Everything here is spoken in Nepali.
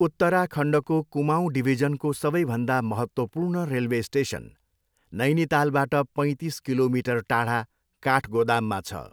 उत्तराखण्डको कुमाऊँ डिभिजनको सबैभन्दा महत्त्वपूर्ण रेलवे स्टेसन नैनीतालबाट पैतिस किलोमिटर टाढा काठगोदाममा छ।